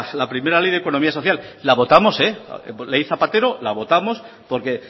la primera ley de economía social la votamos la ley zapatero la votamos porque